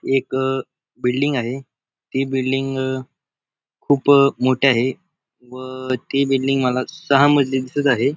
एक अ बिल्डिंग आहे ती बिल्डिंग अ खूप मोठी आहे व ती बिल्डिंग मला सहा मजली दिसत आहे.